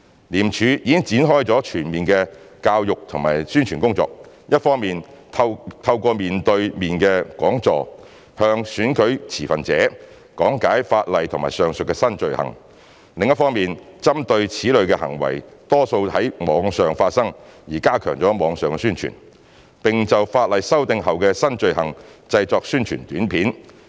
廉署已展開全面的教育及宣傳工作，一方面透過面對面的講座，向選舉持份者講解法例及上述的新罪行；另一方面針對此類行為多在網上發生而加強網上宣傳，並就法例修訂後的新罪行製作宣傳短片。